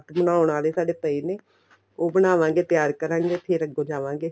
ਬਣਾਉਣ ਵਾਲੇ ਸਾਡੇ ਪਏ ਨੇ ਉਹ ਬਣਾਵਾਗੇ ਤਿਆਰ ਕਰਾਗੇ ਫ਼ੇਰ ਅੱਗੋ ਜਾਵਾਗੇ